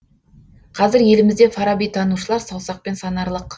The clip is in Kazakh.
қазір елімізде фараби танушылар саусақпен санарлық